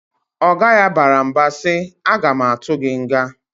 Oga ya bara mba si, "A ga ma atụ gị nga!"